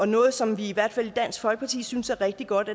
noget som vi i hvert fald i dansk folkeparti synes er rigtig godt